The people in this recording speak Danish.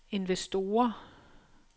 investorer